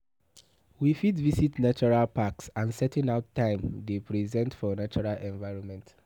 We fit visit natural packs and setting out time dey present for natural environment